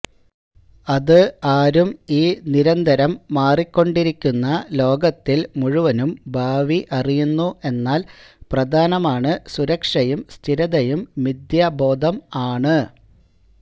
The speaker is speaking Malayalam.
അത് ആരും ഈ നിരന്തരം മാറിക്കൊണ്ടിരിക്കുന്ന ലോകത്തിൽ മുഴുവനും ഭാവി അറിയുന്നു എന്നാൽ പ്രധാനമാണ് സുരക്ഷയും സ്ഥിരതയും മിഥ്യാബോധം ആണ്